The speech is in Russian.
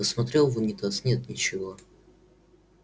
посмотрел в унитаз нет ничего